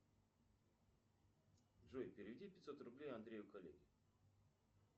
джой переведи пятьсот рублей андрею коллеге